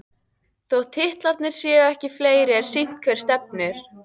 Þótt titlarnir séu ekki fleiri er sýnt hvert stefnir.